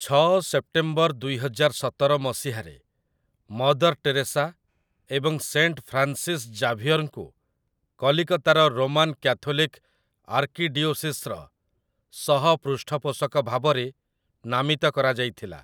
ଛଅ ସେପ୍ଟେମ୍ବର ଦୁଇହଜାର ସତର ମସିହାରେ, ମଦର୍ ଟେରେସା ଏବଂ ସେଣ୍ଟ ଫ୍ରାନ୍ସିସ୍ ଜାଭିୟର୍‌ଙ୍କୁ କଲିକତାର ରୋମାନ୍ କ୍ୟାଥୋଲିକ୍ ଆର୍କିଡିଓସିସ୍‌ର ସହପୃଷ୍ଠପୋଷକ ଭାବରେ ନାମିତ କରାଯାଇଥିଲା ।